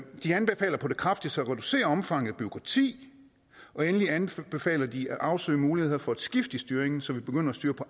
de anbefaler på det kraftigste at reducere omfanget af bureaukrati og endelig anbefaler de at afsøge muligheder for et skifte i styring så vi begynder at styre på